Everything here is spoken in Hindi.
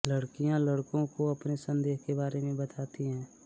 लड़कियाँ लड़कों को अपने संदेह के बारे में बताती हैं